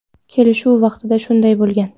Kelishuv vaqtida shunday bo‘lgan.